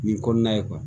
Nin kɔnɔna ye